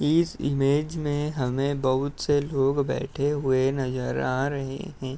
इस इमेज में हमें बहुत से लोग बैठे हुए नजर आ रहे हैं।